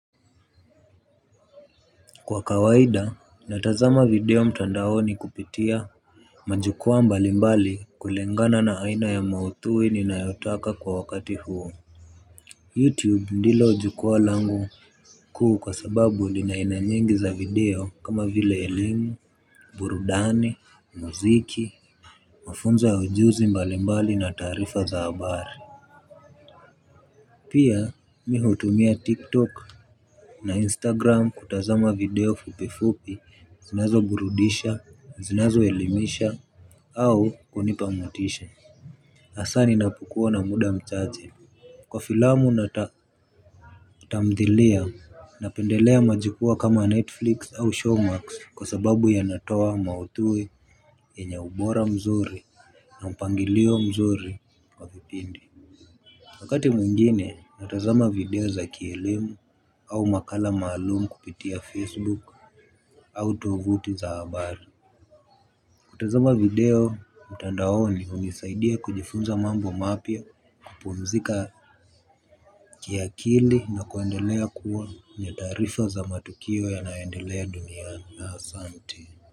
Kwa kawaida natazama video mtandaoni kupitia majukwaa mbali mbali kulingana na aina ya mauthui ninayotaka kwa wakati huo youtube ndilo jukwaa langu kuu kwa sababu lina aina nyingi za video kama vile elimu burudani muziki mafunzo ya ujuzi mbali mbali na taarifa za habari pia mi hutumia tiktok Na Instagram kutazama video fupifupi, zinazoburudisha, zinazoelimisha, au kunipa motisha. Asa ninapokuwa na muda mchache. Kwa filamu na tamdhilia, napendelea majukwaa kama Netflix au showmax kwa sababu yanatoa mauthui yenye ubora mzuri. Na mpangilio mzuri wa vipindi. Wakati mwingine natazama video za kielemu au makala maalum kupitia Facebook. Au tovuti za habari. Kutazama video mtandaoni unisaidia kujifunza mambo mapya kupumzika kiakili na kuendelea kuwa na taarifa za matukio yanayoendelea duniani asante.